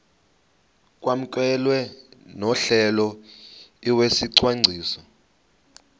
kwamkelwe nohlelo lwesicwangciso